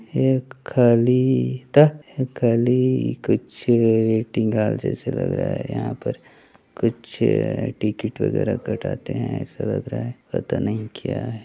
एक खली तअ खली कुछ डिंगाल जैसे लग रहा है यहाँ पर कुछ टिकिट वगेरा काटते है ऐसा लग रहा है पता नहीं क्या है।